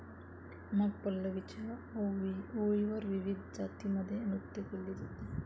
मग पल्लवीच्या ओळींवर विविध जातीमध्ये नृत्य केले जाते.